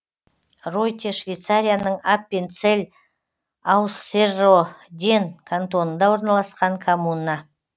ройте швейцарияның аппенцелль ауссерроден кантонында орналасқан коммуна